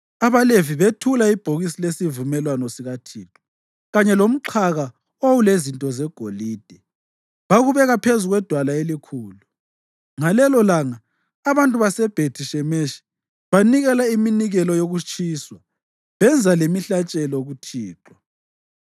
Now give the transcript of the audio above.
AbaLevi bethula ibhokisi lesivumelwano sikaThixo, kanye lomxhaka owawulezinto zegolide, bakubeka phezu kwedwala elikhulu. Ngalelolanga abantu baseBhethi-Shemeshi banikela iminikelo yokutshiswa benza lemihlatshelo kuThixo.